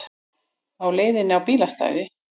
Á hliðinni á bílastæði